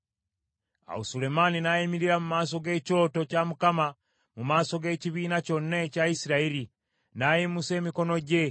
Awo Sulemaani n’ayimirira mu maaso g’ekyoto kya Mukama mu maaso g’ekibiina kyonna ekya Isirayiri, n’ayimusa emikono gye.